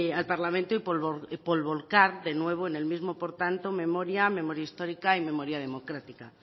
al parlamento y por volcar de nuevo en el mismo por tanto memoria memoria histórica y memoria democrática